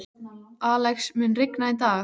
Alex, mun rigna í dag?